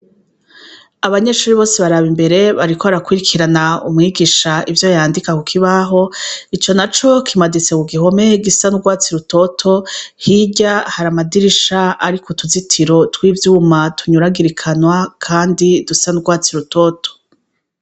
Abanyeshuri bose baraba imbere bariko bara kwirikirana umwigisha ivyo yandika ku kibaho, ico na co kimaditse ku gihomehe gisa n'urwatsi rutoto, hirya hari amadirisha ariko utuzitiro tw'ivyuma tunyuragirikanwa, kandi dusa n'urwatsi rutoto.